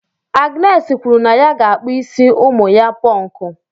Agnes kwuru na ya ga-akpụ isi ụmụ ya Pọnkụ.